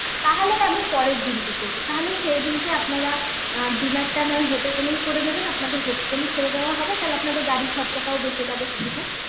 তাহলে আমি পরের দিনকে তাহলে সেইদিনকে আপনারা অ্যাঁ dinner টা নয় hotel এই করে নেবেন আপনাদের hotel এ ছেড় দেওয়া হবে তাহলে আপনাদের গাড়র খরচাটাও বেঁচে যাবে কিছুটা